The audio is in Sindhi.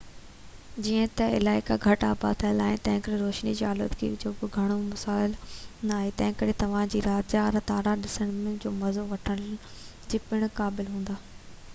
جئين ته علائقا گهٽ آباد ٿيل آهن ۽ تنهنڪري روشني جي آلودگي جو به گهڻو ڪو مسئلو ناهي تنهنڪري توهان رات جا تارا ڏسڻ جو مزو وٺڻ جي پڻ قابل هوندا